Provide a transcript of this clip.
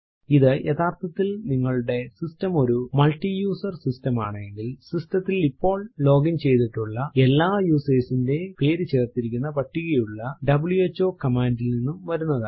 ഇത് യഥാർത്ഥത്തിൽ നിങ്ങളുടെ സിസ്റ്റം ഒരു മൾട്ടിയസർ സിസ്റ്റം ആണെങ്കിൽ സിസ്റ്റം ത്തിൽ ഇപ്പോൾ ലോഗിൻ ചെയ്തിട്ടുള്ള എല്ലാ യൂസർസ് ന്റെയും പേരു ചേർത്തിരിക്കുന്ന പട്ടികയുള്ള വ്ഹോ കമാൻഡ് ൽ നിന്നും വരുന്നതാണ്